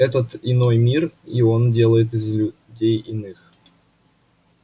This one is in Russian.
это иной мир и он делает из людей иных